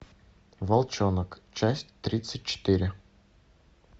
волчонок часть тридцать четыре